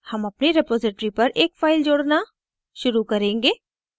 हम अपनी रेपॉज़िटरी पर एक फ़ाइल जोड़ना शुरू करेंगे